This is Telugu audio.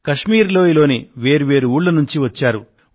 కశ్మీర్ లోయలోని వేర్వేరు ఊళ్ల నుంచి వచ్చారు